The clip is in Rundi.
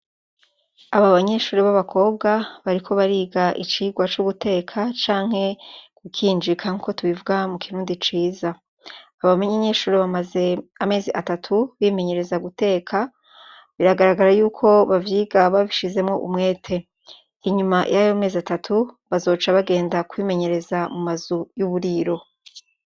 Aba banyeshure b'abakobwa bariko bariga icigwa co guteka canke gukinjika nkuko tubivuga mu kirundi ciza, aba banyeshure bamaze amezi atatu bimenyereza guteka biragaragara yuko bavyiga babishizemwo umwete, inyuma yayo mezi atatu bazoca bagenda kwimenyereza mu mazu y'uburiro.